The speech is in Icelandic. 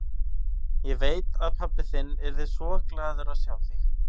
Ég veit að pabbi þinn yrði svo glaður að sjá þig.